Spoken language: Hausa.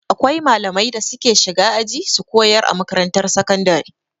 Akwai malamai da suke shiga aji su kayar a makarantar sakandare.